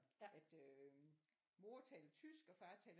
At øh mor taler tysk og far taler